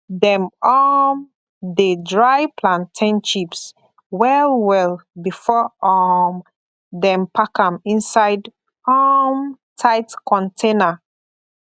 dem um dey dry plantain chips well well before um dem pack am inside um tight container